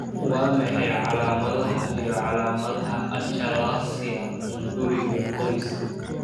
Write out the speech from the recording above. Waa maxay calaamadaha iyo calaamadaha achalasia hunguriga qoyska?